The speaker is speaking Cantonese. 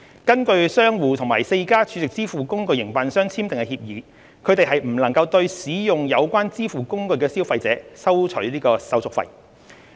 根據商戶與4間儲值支付工具營辦商簽訂的協議，他們不能對使用有關支付工具的消費者收取手續費。